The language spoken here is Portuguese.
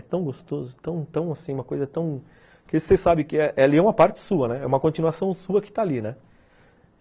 É tão gostoso, tão tão assim, uma coisa tão... Porque você sabe que ela é uma parte sua, é uma continuação sua que está ali, né.